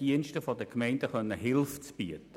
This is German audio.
Diensten der Gemeinden Hilfe bieten zu können.